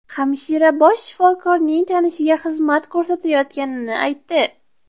Hamshira bosh shifokorning tanishiga xizmat ko‘rsatayotganini aytdi.